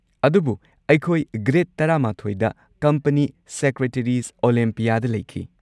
ꯑꯗꯨꯕꯨ ꯑꯩꯈꯣꯏ ꯒ꯭ꯔꯦꯗ ꯱꯱ꯗ ꯀꯝꯄꯅꯤ ꯁꯦꯀ꯭ꯔꯦꯇꯔꯤꯖ' ꯑꯣꯂꯦꯝꯄꯤꯌꯥꯗ ꯂꯩꯈꯤ꯫